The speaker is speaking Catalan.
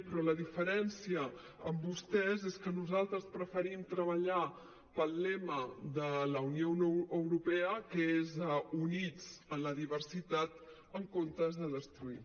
però la diferència amb vostès és que nosaltres preferim treballar pel lema de la unió europea que és units en la diversitat en comptes de destruir